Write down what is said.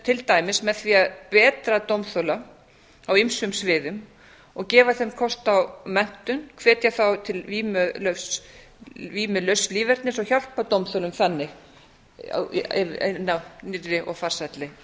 til dæmis með því að betra dómþola á ýmsum sviðum og gefa þeim kost á menntun hvetja þá til vímulauss lífernis og hjálpa dómþola þannig inn á nýrri og farsælli